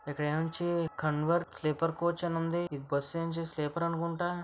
ఇక్కడ నుంచి Kunwar sleeper coach అని ఉంది . బస్సు నుంచి స్లీపర్ ఆన్కుంట.